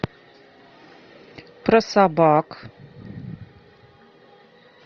про собак